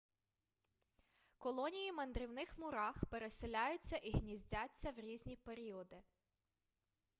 колонії мандрівних мурах переселяються і гніздяться в різні періоди